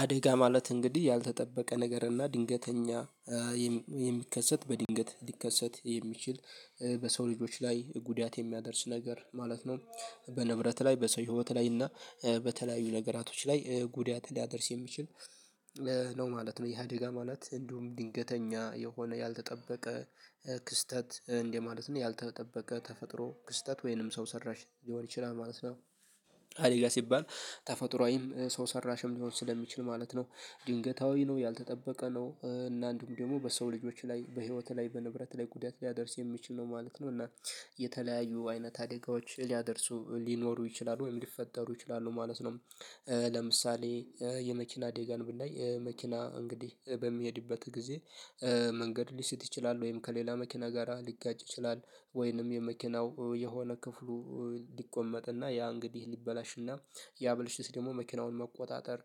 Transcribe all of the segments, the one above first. አደጋ ማለት እንግዲህ ያልተጠበቀ ነገር እና ድንገተኛ የሚከሰት በድንገት ሊከሰት የሚችል በሰው ልጆች ላይ ጉዳት የሚያደርስ ነገር ማለት ነው። በንብረት ላይ በሰው ህይወት ላይ እና በተለያዩ ነገራቶች ላይ ጉዳት ሊያደርስ የሚችል ነው ማለት ነው። ይሁደጋ ማለት እንዲሁም ድንገተኛ የሆነ ያልተጠበቀ ክስተት እንደማለት ነው ያልተጠበቀ ተፈጥሮ ክስተት ወይንም ሰው ሰራሽ ሊሆን ይችላል ማለት ነው። አደጋ ሲባል ተፈጥሮአዊም ሰው ሰራሽም ሊሆን ስለሚችል ማለት ነው። ድንገታዊ ነው ያልተጠበቀ ነው እና አንዱም ደግሞ በሰው ልጆች ላይ በህይወትህ ላይ በንብረት ላይ ጉዳት ሊያደርስ የሚችል ነው ማለት ነው። እና የተለያዩ አይነት አደጋዎች ሊያደርሱ ሊኖሩ ይችላሉ ወይም ሊፈጠሩ ይችላሉ ማለት ነው። ለምሳሌ የመኪና አደጋን ብንዳይ መኪና እንግዲህ በሚሄድበት ጊዜ መንገድ ሊሰት ይችላል ወይም ከሌላ መኪና ጋራ ሊጋጭ ይችላል ወይንም የመኪናው የሆነ ክፍሉ ሊቆመጥና ያ እንግዲህ ሊበላሽና ያብልሽት ደግሞ መኪናውን መቆጣጠር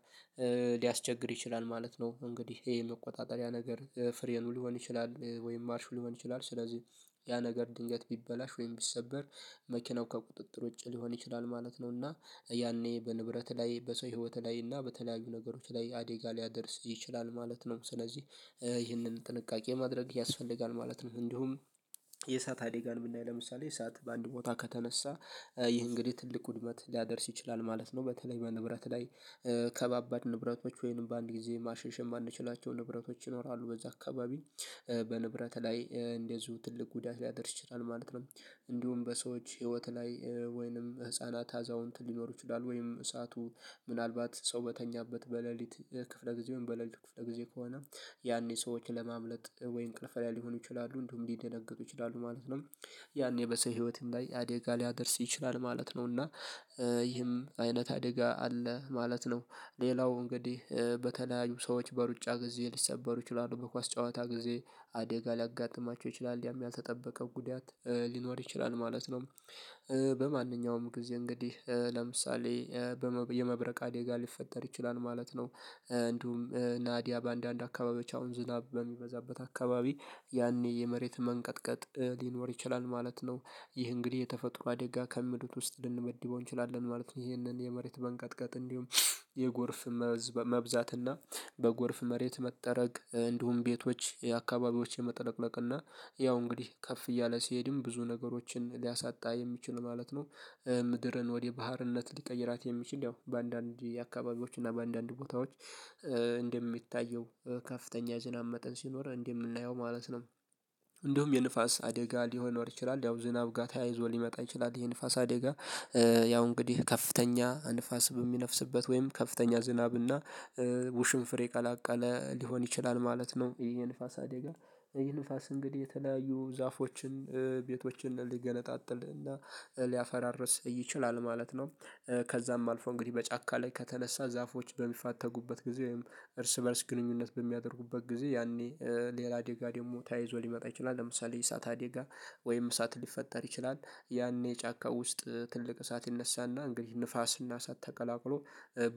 ሊያስቸግር ይችላል ማለት ነው። እንግዲህ ይሄ የመቆጣጠሪያ ነገር ፍሬኑ ሊሆን ይችላል ወይም ማርሹ ሊሆን ይችላል ስለዚህ ያ ነገር ድንገት ቢበላሽ ወይም ቢሰበር መኪናው ከቁጥጥር ውጪ ሊሆን ይችላል ማለት ነው። እና ያኔ በንብረት ላይ በሰው ህይወት ላይ እና በተለያዩ ነገሮች ላይ አደጋ ሊያደርስ ይችላል ማለት ነው። ስለዚህ ይህንን ጥንቃቄ ማድረግ ያስፈልጋል ማለት ነው። እንዲሁም የእሳት አደጋን ብናይ ለምሳሌ የእሳት በአንድ ቦታ ከተነሳ ይህ እንግዲህ ትልቅ ውድመት ሊያደርስ ይችላል ማለት ነው። በተለይ በንብረት ላይ ከባባድ ንብረቶች ወይም በአንድ ጊዜ ማሸሽ የማንችላቸው ንብረቶች ይኖራሉ በዛ አካባቢ በንብረት ላይ እንደዚሁ ትልቅ ጉዳት ሊያደርስ ይችላል ማለት ነው። እንዲሁም በሰዎች ህይወት ላይ ወይንም ህፃናት አዛውንት ሊኖሩ ይችላሉ ወይም እሳቱ ምናልባት ሰው በተኛበት በሌሊት ክፍለ ጊዜ ወይም በሌሊቱ ክፍለ ጊዜ ከሆነ ያኔ ሰዎችን ለማምለጥ ወይ እንቅልፍ ላይ ሊሆኑ ይችላሉ እንዲሁም ሊደነግጡ ይችላሉ ማለት ነው። ያኔ በሰው ህይወትም ላይ አዴጋ ሊያደርስ ይችላል ማለት ነው። እና ይህም አይነት አደጋ አለ ማለት ነው። ሌላው እንግዲህ በተለያዩ ሰዎች በሩጫ ጊዜ ሊሰበሩ ይችላሉ በኳስ ጨዋታ ጊዜ አደጋ ሊያጋጥማቸው ይችላል ያም ያልተጠበቀ ጉዳት ሊኖር ይችላል ማለት ነው። በማንኛውም ጊዜ እንግዲህ ለምሳሌ የመብረቅ አደጋ ሊፈጠር ይችላል ማለት ነው። እንዲሁም ናዲያ በአንዳንድ አካባቢዎች አሁን ዝናብ በሚበዛበት አካባቢ ያኔ የመሬት መንቀጥቀጥ ሊኖር ይችላል ማለት ነው። ይህ እንግዲህ የተፈጥሮ አደጋ ከምድብ ውስጥ ልንመድበው እንችላለን ማለት ነው። ይሄንን የመሬት መንቀጥቀጥ እንዲሁም የጎርፍ መብዛትና በጎርፍ መሬት መጠረግ እንዲሁም ቤቶች የአካባቢዎች የመጥለቅለቅ እና ያው እንግዲህ ከፍ እያለ ሲሄድም ብዙ ነገሮችን ሊያሳጣ የሚችል ማለት ነው። ምድርን ወደ ባህርነት ሊቀይራት የሚችል ያው በአንዳንድ አካባቢዎች እና በአንዳንድ ቦታዎች እንደሚታየው ከፍተኛ የዝናብ መጠን ሲኖር እንደምናየው ማለት ነው። እንደውም የንፋስ አደጋ ሊሆን ይችላል ያው ዝናብ ጋር ተያይዞ ሊመጣ ይችላል ይሄ ንፋስ አደጋ። ያው እንግዲህ ከፍተኛ ንፋስ በሚነፍስበት ወይም ከፍተኛ ዝናብና ውሽንፍር የቀላቀለ ሊሆን ይችላል ማለት ነው። ይሄ ንፋስ አደጋ ይህ ንፋስ እንግዲህ የተለያዩ ዛፎችን ቤቶችን ሊገነጣጥል እና ሊያፈራርስ ይችላል ማለት ነው። ከዛም አልፎ እንግዲህ በጫካ ላይ ከተነሳ ዛፎች በሚፋተጉበት ጊዜ ወይም እርስ በእርስ ግንኙነት በሚያደርጉበት ጊዜ ያኔ ሌላ አደጋ ደግሞ ተይይዞ ሊመጣ ይችላል ለምሳሌ የእሳት አደጋ ወይም ሰዓት ሊፈጠር ይችላል ያኔ ጫካ ውስጥ ትልቅ እሳት ይነሳና እንግዲህ ንፋስና እሳት ተቀላቅሎ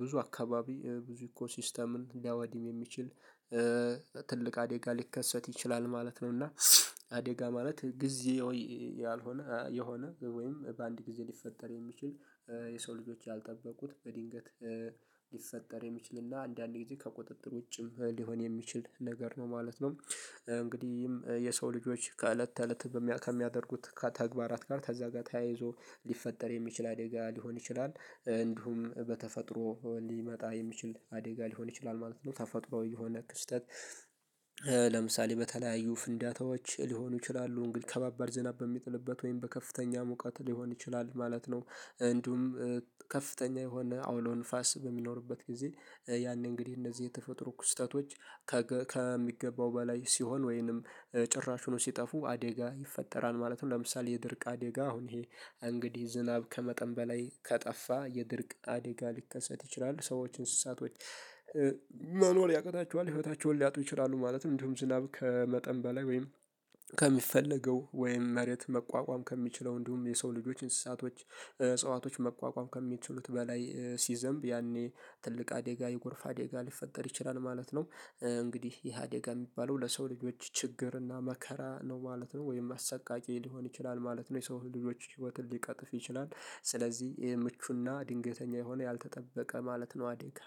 ብዙ አካባቢ ብዙ እኮ ሲስተምን ሊያወድም የሚችል ትልቅ አደጋ ሊከሰት ይችላል ማለት ነው። እና አደጋ ማለት ጊዚያዊ ያልሆነ የሆነ ወይም በአንድ ጊዜ ሊፈጠር የሚችል የሰው ልጆች ያልጠበቁት በድንገት ሊፈጠር የሚችልና አንዳንዴ ከቁጥጥር ውጭም ሊሆን የሚችል ነገር ነው ማለት ነው። እንግዲህ የሰው ልጆች ከእለት ተእለት ከሚያደርጉት ከተግባራት ጋር ከዛ ጋር ተያይዞ ሊፈጠር የሚችል አደጋ ሊሆን ይችላል እንዲሁም በተፈጥሮ ሊመጣ የሚችል አደጋ ሊሆን ይችላል ማለት ነው። ታፋጡራዊ የሆነ ክስተት ለምሳሌ በተለያዩ ፍንዳታዎች ሊሆኑ ይችላሉ ግን ከባባድ ዝናብ በሚጥልበት ወይም በከፍተኛ ሙቀት ሊሆን ይችላል ማለት ነው። እንዲሁም ከፍተኛ የሆነ አውሎ ንፋስ በሚኖርበት ጊዜ ያኔ እንግዲህ እነዚህ የተፈጥሮ ክስተቶች ከሚገባው በላይ ሲሆን ወይንም ጭራሹኑ ሲጠፉ አደጋ ይፈጠራል ማለት ነው። ለምሳሌ የድርቅ አደጋ አሁን ይሄ እንግዲህ ዝናብ ከመጠን በላይ ከጠፋ የድርቅ አደጋ ሊከሰት ይችላል ሰዎች እንስሳቶች መኖር ያቅታቸዋል ህይወታቸውን ሊያጡ ይችላሉ ማለትም እንደውም ዝናብ ከመጠን በላይ ወይም ከሚፈለገው ወይም መሬት መቋቋም ከሚችለው እንዲሁም የሰው ልጆች እንስሳቶች እጽዋቶች መቋቋም ከሚችሉት በላይ ሲዘንብ ያኔ ትልቅ አደጋ የጎርፍ አደጋ ሊፈጠር ይችላል ማለት ነው። እንግዲህ ይሄ አደጋ የሚባለው ለሰው ልጆች ችግር እና መከራ ነው ማለት ነው ወይም አሰቃቂ ሊሆን ይችላል ማለት ነው። የሰው ልጆች ህይወትን ሊቀጥፍ ይችላል ስለዚህ ይሄ ምቹና ድንገተኛ የሆነ ያልተጠበቀ ማለት ነው አዴጋ።